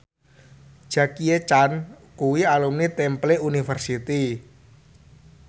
Jackie Chan kuwi alumni Temple University